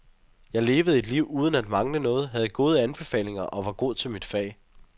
Jeg levede et liv uden at mangle noget, havde gode anbefalinger og var god til mit fag.